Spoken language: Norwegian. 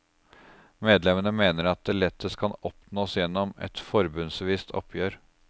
Medlemmene mener at det lettest kan oppnås gjennom et forbundsvist oppgjør.